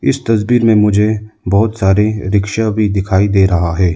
इस तस्वीर में मुझे बहोत सारे रिक्शा भी दिखाई दे रहा है।